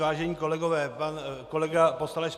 Vážení kolegové, pan kolega poslanec